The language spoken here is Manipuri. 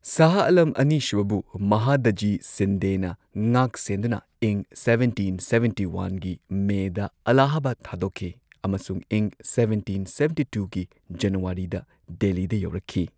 ꯁꯍꯥꯍ ꯑꯂꯝ ꯑꯅꯤ ꯁꯨꯕꯕꯨ ꯃꯍꯥꯗꯥꯖꯤ ꯁꯤꯟꯗꯦꯅ ꯉꯥꯛ ꯁꯦꯟꯗꯨꯅ ꯏꯪ ꯁꯕꯦꯟꯇꯤꯟ ꯁꯕꯦꯟꯇꯤ ꯋꯥꯟꯒꯤ ꯃꯦꯗ ꯑꯜꯂꯥꯍꯥꯕꯥꯗ ꯊꯥꯗꯣꯛꯈꯤ ꯑꯃꯁꯨꯡ ꯏꯪ ꯁꯕꯦꯟꯇꯤꯟ ꯁꯕꯦꯟꯇꯤ ꯇꯨꯒꯤ ꯖꯅꯋꯥꯔꯤꯗ ꯗꯦꯜꯂꯤꯗ ꯌꯧꯔꯛꯈꯤ